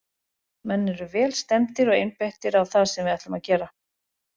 Menn eru vel stemmdir og einbeittir á það sem við ætlum að gera.